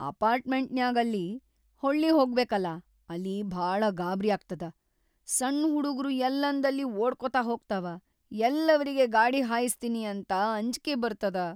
ಅಪಾರ್ಟ್ಮೆಂಟಿನ್ಯಾಗ್‌ ಅಲ್ಲಿ ಹೊಳ್ಳಿಹೊಗಬೇಕಲಾ ಅಲ್ಲಿ ಭಾಳ ಗಾಬ್ರ್ಯಾಗ್ತದ, ಸಣ್‌ ಹುಡುಗ್ರು ಯಲ್ಲಂದಲ್ಲಿ ಓಡ್ಕೋತ ಹೋಗ್ತಾವ, ಯಲ್ಲಿ ಅವ್ರಿಗಿ ಗಾಡಿ ಹಾಯ್ಸತೀನಿ ಅಂತ ಅಂಜ್ಕಿ ಬರ್ತದ.